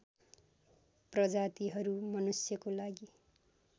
प्रजातिहरू मनुष्यको लागि